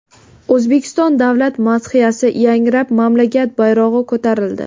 O‘zbekiston davlat madhiyasi yangrab, mamlakat bayrog‘i ko‘tarildi.